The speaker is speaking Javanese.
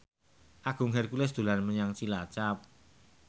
Agung Hercules dolan menyang Cilacap